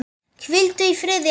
Hvíldu í friði elsku amma.